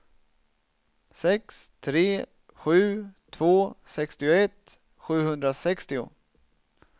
sex tre sju två sextioett sjuhundrasextio